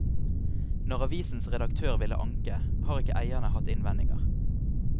Når avisens redaktør ville anke, har ikke eierne hatt innvendinger.